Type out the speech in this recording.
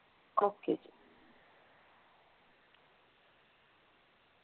okay ਜੀ।